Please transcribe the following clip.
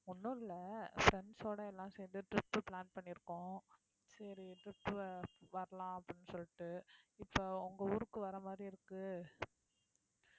ஒண்ணும் இல்லை friends சோட எல்லாம் சேர்ந்து trip plan பண்ணியிருக்கோம் சரி trip வரலாம் அப்படின்னு சொல்லிட்டு இப்ப உங்க ஊருக்கு வர்ற மாதிரி இருக்கு